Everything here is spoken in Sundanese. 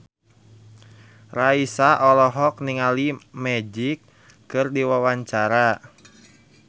Raisa olohok ningali Magic keur diwawancara